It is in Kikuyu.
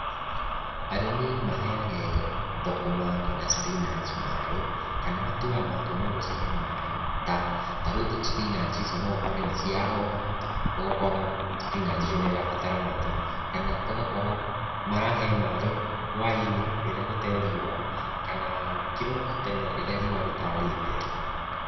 Arĩmi maheage thũkũma kana spinach maĩ, kana matuaga matua magũcihe maĩ, ta rĩu spinach icio no ũkore nĩ ciahoha, ũgokona spinach icio nĩ irabatara maĩ, kana ũgakora, marahe maĩ, hũainĩ, rĩrĩa gũtee riũa, kana kĩroko tene rĩrĩa riũa rĩtaarĩte.